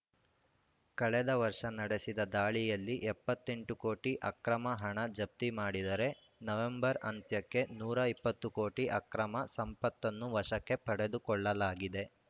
ಕಳೆದ ವರ್ಷ ನಡೆಸಿದ ದಾಳಿಯಲ್ಲಿ ಎಪ್ಪತ್ತ್ ಎಂಟು ಕೋಟಿ ಅಕ್ರಮ ಹಣ ಜಪ್ತಿ ಮಾಡಿದರೆ ನವಂಬರ್‌ ಅಂತ್ಯಕ್ಕೆ ನೂರ ಇಪ್ಪತ್ತು ಕೋಟಿ ಅಕ್ರಮ ಸಂಪತ್ತನ್ನು ವಶಕ್ಕೆ ಪಡೆದುಕೊಳ್ಳಲಾಗಿದೆ